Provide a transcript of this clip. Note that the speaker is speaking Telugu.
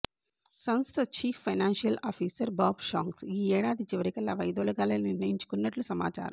సంస్థ chief financial officer Bob Shanks ఈ ఏడాది చివరికల్లా వైదొలగాలని నిర్ణయించుకున్నట్లు సమాచారం